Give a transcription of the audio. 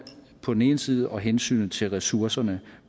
på den ene side og hensynet til ressourcerne